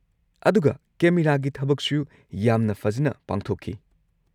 ꯑꯗꯨꯒ ꯀꯦꯃꯦꯔꯥꯒꯤ ꯊꯕꯛꯁꯨ ꯌꯥꯝꯅ ꯐꯖꯅ ꯄꯥꯡꯊꯣꯛꯈꯤ꯫